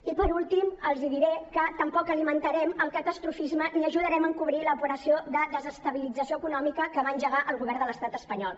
i per últim els diré que tampoc alimentarem el catastrofisme ni ajudarem a encobrir l’operació de desestabilització econòmica que va engegar el govern de l’estat espanyol